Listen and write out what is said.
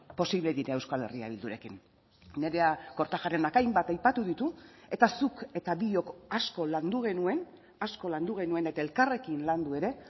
posible dira euskal herria bildurekin nerea kortajarenak hainbat aipatu ditu eta zuk eta biok asko landu genuen asko landu genuen eta elkarrekin landu ere